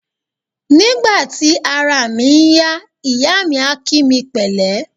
Nígbà tí araà mi ń yá, ìyáà mi a kí mi pẹ̀lẹ́.